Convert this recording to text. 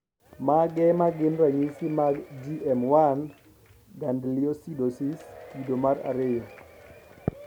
Mage magin ranyisi mag GM1 gangliosidosis kido mar ariyo